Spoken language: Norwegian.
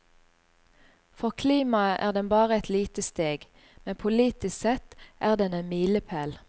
For klimaet er den bare et lite steg, men politisk sett er den en milepæl.